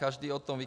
Každý o tom ví.